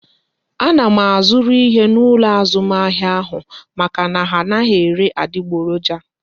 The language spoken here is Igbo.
A na m azuru ihe n'ụlọ azụmahịa ahụ maka na ha anaghị ele adiboroja